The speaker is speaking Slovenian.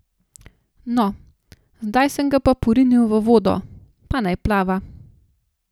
No, zdaj sem ga porinil v vodo, pa naj plava.